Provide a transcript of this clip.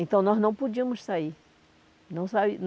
Então, nós não podíamos sair. Não